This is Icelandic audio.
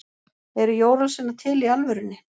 eru jólasveinar til í alvörunni